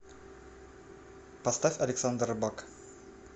поставь александр рыбак